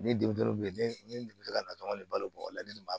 Ne denmisɛnw bɛ ne deli ka natɔn ne balo bɔgɔ la ne b'a